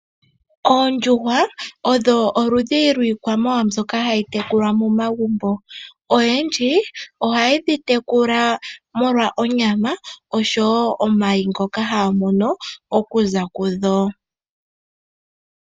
Oondjuhwa odho oludhi lwiikwamawawa mbyoka hayi tekulwa momagumbo. Oyendji ohaye dhi tekula molwa onyama osho woo omayi ngoka haya mono okuza kudho.